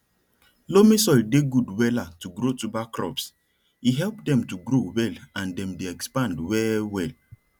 loamy soil dey good wella to grow tuber crops e help dem to grow well and dem dey expand well well